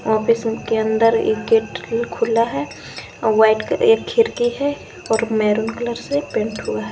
Office के अंदर एक गेट खुला है और व्हाइट एक खिड़की है और मैरून कलर से पेंट हुआ है।